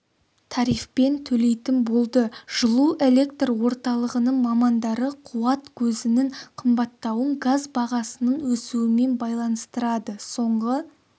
тарифпен төлейтін болды жылу электр орталығының мамандары қуат көзінің қымбаттауын газ бағасының өсуімен байланыстырады соңғы